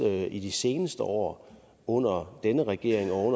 i de seneste år under denne regering og